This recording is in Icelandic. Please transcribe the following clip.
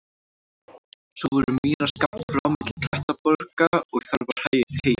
Svo voru mýrar skammt frá milli klettaborga og þar var heyjað.